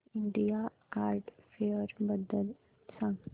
India art fair बद्दल सांग